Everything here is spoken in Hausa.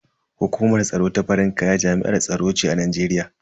Hukumar tsaro ta farin kaya jami'ar tsaro ce a Najeriya.